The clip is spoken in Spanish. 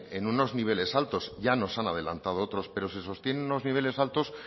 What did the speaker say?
en unos niveles altos ya nos han adelantado otros pero se sostiene en unos niveles altos